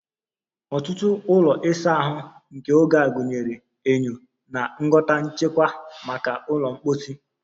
Ọtụtụ ụlọ ịsa ahụ nke oge a gụnyere enyo na ngwọta nchekwa maka ụlọ mposi